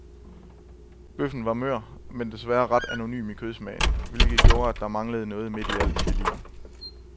Bøffen var mør, men desværre ret anonym i kødsmagen, hvilket gjorde, at der manglede noget midt i al chilien.